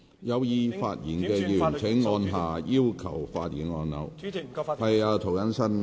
有意發言的委員請按下"要求發言"按鈕。